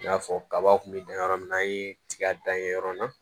I n'a fɔ kaba kun bɛ dan yɔrɔ min na an ye tiga dan yen yɔrɔ la